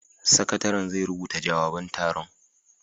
Sakataren zai rubuta jawaban taron